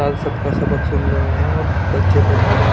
आल सब का सबक सुन रहे है और बच्चे पढाये जा रहे है।